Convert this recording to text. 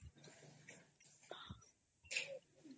noise